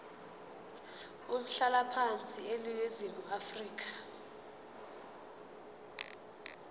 umhlalaphansi eningizimu afrika